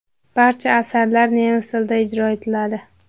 Barcha asarlar nemis tilida ijro etiladi.